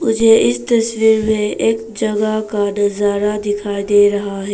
मुझे इस तस्वीर में एक जगह का नजारा दिखाई दे रहा है।